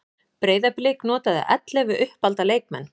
Breiðablik notaði ellefu uppalda leikmenn